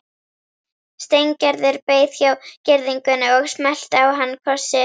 Steingerður beið hjá girðingunni og smellti á hann kossi.